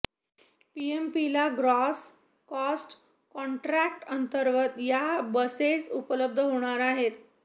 पीएमपीला gross cost contract अंतर्गत या buses उपलब्ध होणार आहेत